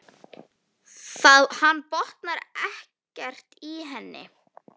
Hann botnar ekkert í henni.